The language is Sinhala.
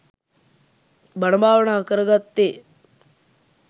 බණ භාවනා කරගත්තේ.